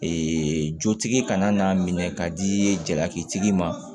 jotigi kana n'a minɛ ka di jalaki tigi ma